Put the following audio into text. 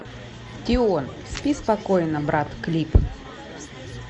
тион спи спокойно брат клип